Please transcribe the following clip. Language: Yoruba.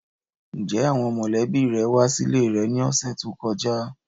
Njẹ awọn mọlẹbi rẹ wa sile rẹ ni ọsẹ to kọja?